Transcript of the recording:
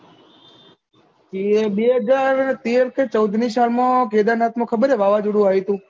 એ બે હજાર તેર કે ચૌદમી સાલ માં કેદારનાથ માં ખબર છે વાવાઝોડું આયુ હતું